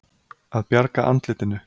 Að bjarga andlitinu